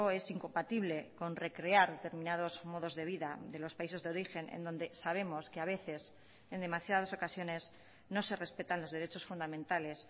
es incompatible con recrear determinados modos de vida de los países de origen en donde sabemos que a veces en demasiadas ocasiones no se respetan los derechos fundamentales